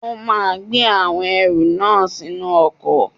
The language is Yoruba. O máa gbé àwọn ẹrù náà sínú ọkọ̀.